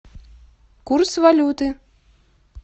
курс валюты